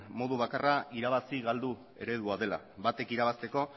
modu bakarra irabazi galdu eredua dela batek irabazteko